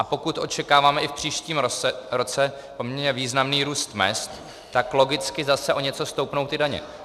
A pokud očekáváme i v příštím roce poměrně významný růst mezd, tak logicky zase o něco stoupnou ty daně.